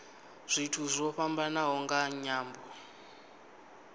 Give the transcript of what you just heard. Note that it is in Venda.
zwithu zwo fhambanaho nga nyambo